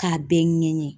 K'a bɛɛ ɲɛɲini